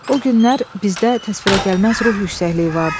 O günlər bizdə təsvirə gəlməz ruh yüksəkliyi vardı.